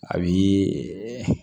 A bi